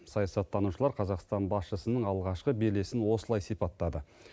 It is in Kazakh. саясаттанушылар қазақстан басшысының алғашқы белесін осылай сипаттады